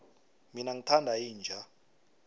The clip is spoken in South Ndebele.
mina ngithanda inja